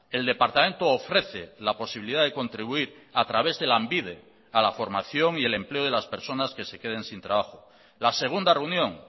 el departamento ofrece la posibilidad de contribuir a través de lanbide a la formación y el empleo de las personas que se queden sin trabajo la segunda reunión